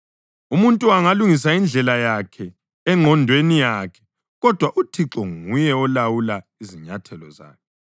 Umuntu angalungisa indlela yakhe engqondweni yakhe, kodwa uThixo nguye olawula izinyathelo zakhe.